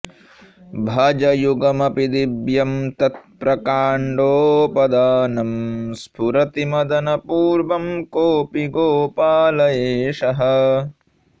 भुजयुगमपि दिव्यं तत्प्रकाण्दोपधानं स्फुरति मदनपूर्वः कोऽपि गोपाल एषः